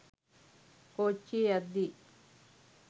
කෝච්චියෙ යද්දි